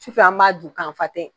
Sufɛ an b'a dun k'an fa dɛ